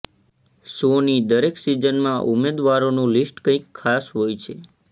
શોની દરેક સિઝનમાં ઉમેદવારોનું લીસ્ટ કંઈ ખાસ હોય છે